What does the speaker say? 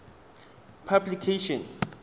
publication